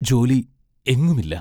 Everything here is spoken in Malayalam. ജോലി എങ്ങും ഇല്ല.